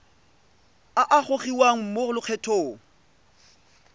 a a gogiwang mo lokgethong